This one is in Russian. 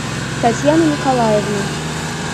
татьяны николаевны